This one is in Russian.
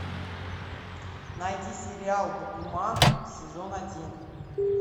найди сериал букуман сезон один